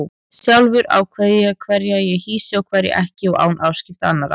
Sjálfur ákveð ég hverja ég hýsi og hverja ekki og án afskipta annarra.